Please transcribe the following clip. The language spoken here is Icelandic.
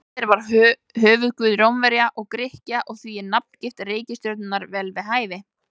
Júpíter var höfuðguð Rómverja og Grikkja og því er nafngift reikistjörnunnar vel við hæfi.